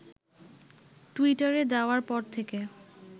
টুইটারে দেওয়ার পর থেকে